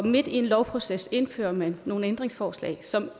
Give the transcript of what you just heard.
midt i en lovproces indfører man nogle ændringsforslag som der